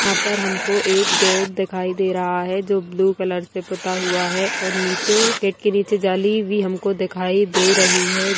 यहाँ पर हमको एक गेट दिखाई दे रहा है जो ब्लू कलर से पुता हुआ है और नीचे गेट के नीचे जाली भी हमको दिखाई दे रही है ।